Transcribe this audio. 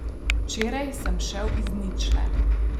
Včeraj sem šel iz ničle.